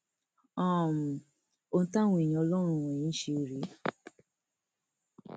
um ohun táwọn èèyàn ọlọrun wọnyí ń ṣe rèé